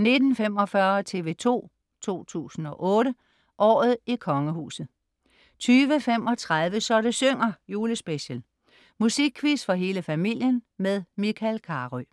19.45 TV 2 008: Året i kongehuset 20.35 Så det synger. Julespecial. Musikquiz for hele familien med Michael Carøe